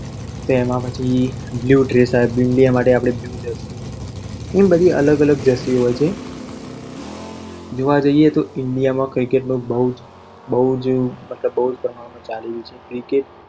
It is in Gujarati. તો એમાં પછી blue dress આવે, ઈન્ડિયા માટે blue જર્સી અને બધી અલગ અલગ જર્સી હોય છે જોવા જઈએ તો ઈન્ડિયા માં cricket અત્યારે બહુ જ ચાલી રહ્યું છે.